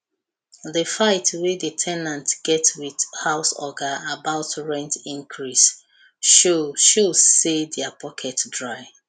the fight wey the ten ant get with house oga about rent increase show show say their pocket dry